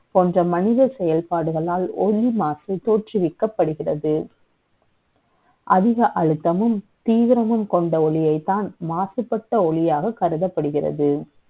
ப ோன்ற மனித செ யல்பாடுகளால், ஒலி மாசு த ோற்றுவிக்கப்படுகிறது அதிக அழுத்தமும், தீவிரமும் க ொண்ட ஒளியை த்தான், மாசுபட்ட ஒளியாக கருதப்படுகிறது.